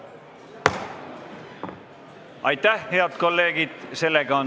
Aitäh, head kolleegid!